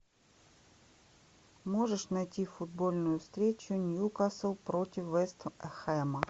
можешь найти футбольную встречу ньюкасл против вест хэма